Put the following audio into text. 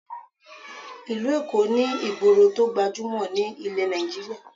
Ìlú Èkó ní ìgboro tó gbajúmọ̀ ní ilẹ̀ Nigeria